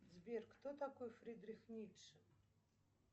сбер кто такой фридрих ницше